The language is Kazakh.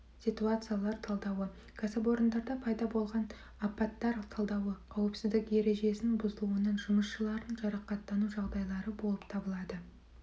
ситуациялар талдауы кәсіпорындарда пайда болған апаттар талдауы қауіпсіздік ережесінің бұзылуынан жұмысшылардың жарақаттану жағдайлары болып табылады